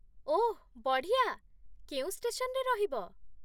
ଓଃ ବଢ଼ିଆ! କେଉଁ ଷ୍ଟେସନରେ ରହିବ?